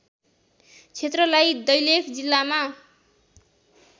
क्षेत्रलाई दैलेख जिल्लामा